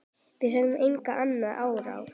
Við höfum engin önnur úrræði.